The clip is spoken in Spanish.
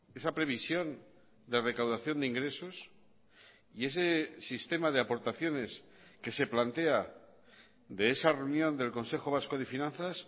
esa previsión de recaudación de ingresos y ese sistema de aportaciones que se plantea de esa reunión del consejo vasco de finanzas